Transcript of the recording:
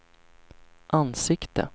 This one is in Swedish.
ansikte